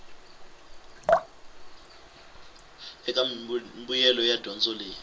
eka mimbuyelo ya dyondzo leyi